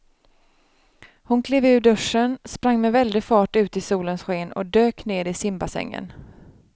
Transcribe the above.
Hon klev ur duschen, sprang med väldig fart ut i solens sken och dök ner i simbassängen.